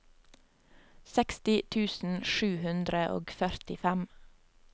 seksti tusen sju hundre og førtifem